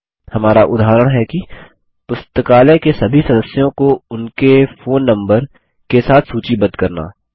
हमारा उदाहरण है कि पुस्तकालय के सभी सदस्यों को उनके फोन नम्बर के साथ सूचीबद्ध करना